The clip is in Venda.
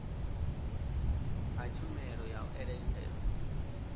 ha tshumelo ya u eletshedza